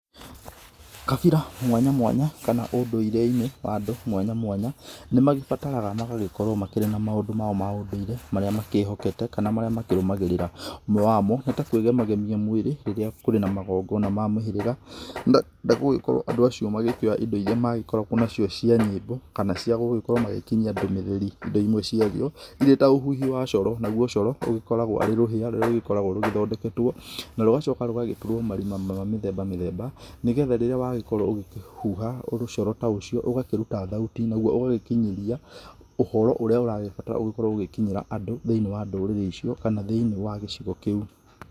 Kabira mwanya mwanya kana ũndũirĩine wa andũ mwanya mwanya nĩ magĩbataraga magagĩkorwo mena maũndũ mao ma ũndũire marĩa makĩhokete kana marĩa makĩrũmagĩrĩraú, ũmwe wamo nĩ kũĩgema gemia mwĩrĩ rĩrĩa kũrĩ na magongona ma mũhĩrĩga na gũkorwo andũ acio magĩkĩoya indo magĩkoragwo nacio cia nyĩmbo kana cia gũkorwo magĩkĩnyia ndũmĩrĩrĩ indo ĩmwe cia cio irĩ ta ũhuhi wa coro, nagũo coro ũgĩkoragwo arĩ rũhĩa rũrĩa rũgĩthondeketwo na rũgacoka rũgatũrwo marima ma mĩthemba mĩthemba nĩgetha rĩrĩa wagĩkorwo ũgĩkĩhũha rũcoro ta ũcio ũgakĩruta thauti ũgagĩkĩnyĩria ũhoro ũrĩa ũragĩbatara gũkorwo ũgĩkinyĩra andũ thĩinĩ wa ndũrĩrĩ icio kana thĩinĩ wa gĩcigo kĩu.